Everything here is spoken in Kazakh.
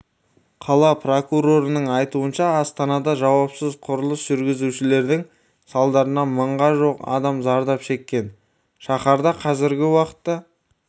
қала прокурорының айтуынша астанада жауапсыз құрылыс жүргізушердің салдарынан мыңға жуық адам зардап шеккен шаһарда қазіргі уақытта